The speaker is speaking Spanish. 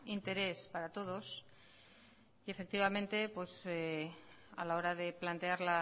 interés para todos y efectivamente a la hora de plantear